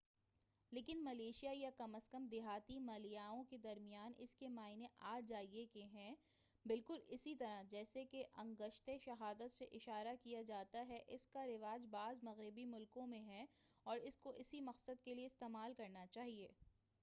لیکن ملیشیا یا کم از کم دیہاتی ملایائیوں کے درمیان اس کے معنی آ جائیے کے ہیں بالکل اسی طرح جیسے کہ انگشتِ شہادت سے اشارہ کیا جاتا ہے اس کا رواج بعض مغربی ملکوں میں ہے اور اس کو اسی مقصد کے لئے استعمال کرنا چاہئے